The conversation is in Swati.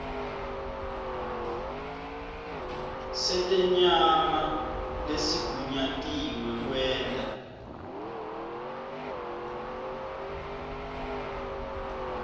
setenyama lesigunyatiwe kwenta